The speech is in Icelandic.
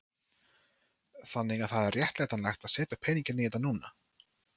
Þannig að það er réttlætanlegt að setja peninginn í þetta núna?